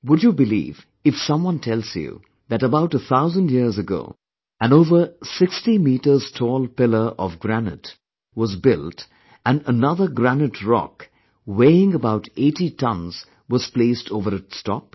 Would you believe if someone tells you that about a thousand years ago, an over sixty metrestall pillar of granite was built and anothergranite rock weighing about 80 tonnes was placed over its top